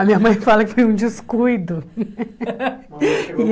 A minha mãe fala que foi um descuido. E